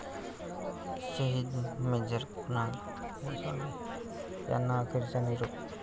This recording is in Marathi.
शहीद मेजर कुणाल गोसावी यांना अखेरचा निरोप